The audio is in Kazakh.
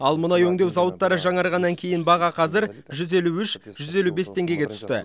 ал мұнай өңдеу зауыттары жаңарғаннан кейін баға қазір жүз елу үш жүз елу бес теңгеге түсті